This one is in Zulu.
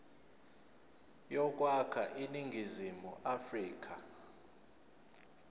yokwakha iningizimu afrika